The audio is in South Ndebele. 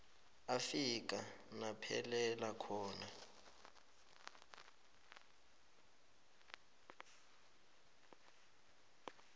afika naphelela khona